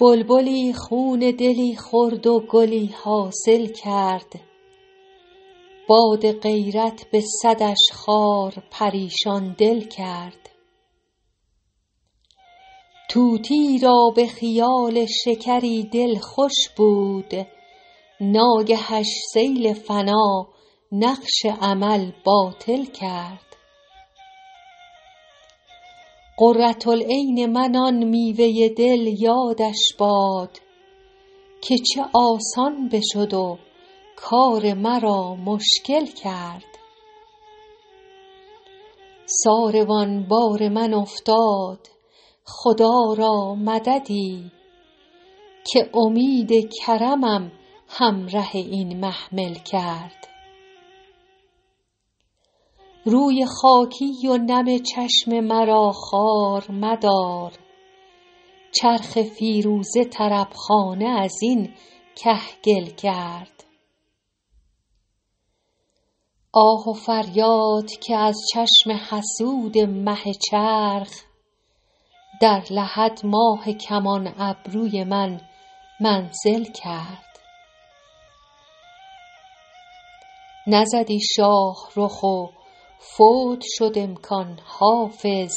بلبلی خون دلی خورد و گلی حاصل کرد باد غیرت به صدش خار پریشان دل کرد طوطیی را به خیال شکری دل خوش بود ناگهش سیل فنا نقش امل باطل کرد قرة العین من آن میوه دل یادش باد که چه آسان بشد و کار مرا مشکل کرد ساروان بار من افتاد خدا را مددی که امید کرمم همره این محمل کرد روی خاکی و نم چشم مرا خوار مدار چرخ فیروزه طرب خانه از این کهگل کرد آه و فریاد که از چشم حسود مه چرخ در لحد ماه کمان ابروی من منزل کرد نزدی شاه رخ و فوت شد امکان حافظ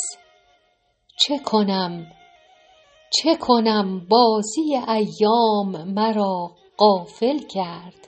چه کنم بازی ایام مرا غافل کرد